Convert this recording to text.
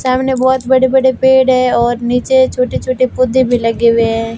सामने बहोत बड़े बड़े पेड़ है और नीचे छोटे छोटे पौधे भी लगे हुए हैं।